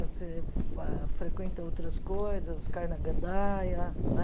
Você pa frequenta outras coisas, cai na gandaia, né?